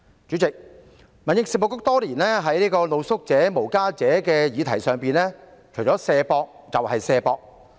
主席，民政事務局多年在露宿者、無家者的議題上，除了"卸膊"，就只有"卸膊"。